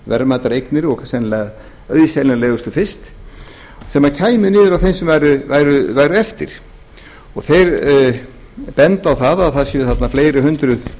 verðmætar eignir og sennilega auðseljanlegustu fyrst sem kæmi niður á þeim sem væru eftir þeir benda á að það séu þarna fleiri hundruð